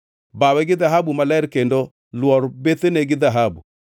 Bawe gi dhahabu maler kendo lwor bethene gi dhahabu.